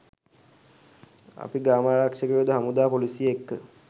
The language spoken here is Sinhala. අපි ග්‍රාමාරක්ෂකයො හමුදාව පොලිසිය එක්ක